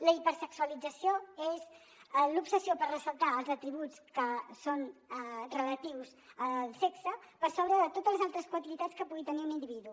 la hipersexualització és l’obsessió per ressaltar els atributs que són relatius al sexe per sobre de totes les altres qualitats que pugui tenir un individu